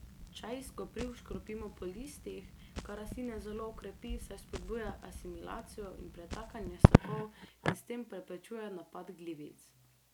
Čaj iz kopriv škropimo po listih, kar rastline zelo okrepi, saj spodbuja asimilacijo in pretakanje sokov in s tem preprečuje napad glivic.